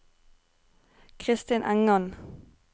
Kristin Engan